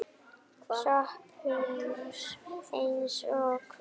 SOPHUS: Eins og hvað?